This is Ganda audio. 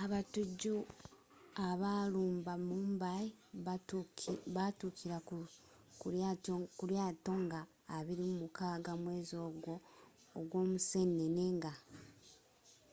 abatujju abaalumba mumbai baatukira ku lyaato nga 26 mwezi ogwa museenene nga